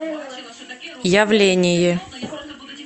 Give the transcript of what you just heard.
явление